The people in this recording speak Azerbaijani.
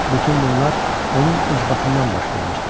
Bütün bunlar onun ucbatından baş vermişdi.